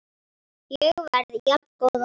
Ég verð jafngóð og ný.